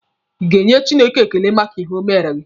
Ị ga-enye Chineke ekele maka ihe o mere gị?